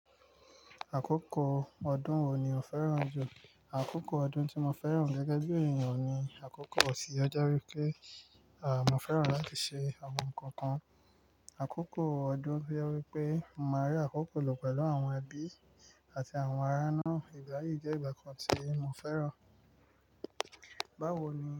Àkókò ọdún wo ni o fẹ́ràn jù? Àkókò ọdún tí mo fẹ́ràn gẹ́gẹ́ bí ènìyàn ni àkókò ọ̀sì, ó jé wípé mọ́ fẹ́ràn láti ṣe àwọn nnkankan. Àkókò ọdún to jẹ́ wípé, mo máa rí àkókò lọ pẹ̀lú àwọn ẹbí àti àwọn ará naá, ìgbà yìí jẹ́ ìgbà kan tí mo fẹ́ràn. Báwo ni?